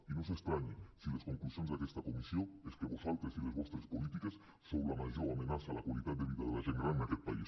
i no s’estranyin si les conclusions d’aquesta comissió és que vosaltres i les vostres polítiques sou la major amenaça a la qualitat de vida de la gent gran en aquest país